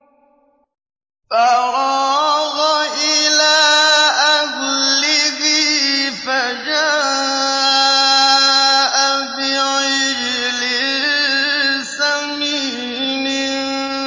فَرَاغَ إِلَىٰ أَهْلِهِ فَجَاءَ بِعِجْلٍ سَمِينٍ